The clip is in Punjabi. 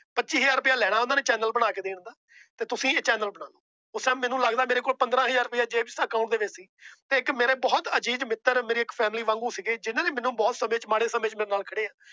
ਪੱਚੀ ਹਜ਼ਾਰ ਰੁਪਇਆ ਲੈਣਾ ਉਹਨਾਂ ਨੇ Channel ਬਣਾ ਕੇ ਦੇਣ ਦਾ। ਤੇ ਤੁਸੀਂ ਇਹ Channel ਕਰੋ। ਉਸ Time ਮੈਨੂੰ ਲੱਗਦਾ ਪੰਦਰਾਂ ਹਜ਼ਾਰ ਰੁਪਇਆ ਮੇਰੀ Account ਚ ਸੀ। ਮੇਰੇ ਬਹੁਤ ਆਜ਼ਿਜ਼ ਮਿੱਤਰ ਮੇਰੇ Family ਵਾਂਗੂ ਸੀ। ਜਿੰਨਾ ਨੇ ਬਹੁਤ ਮਾੜੇ ਸਮੇ ਚ ਮੇਰੇ ਨਾਲ ਖੜੇ ਆ।